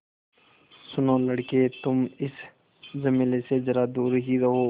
सुनो लड़के तुम इस झमेले से ज़रा दूर ही रहो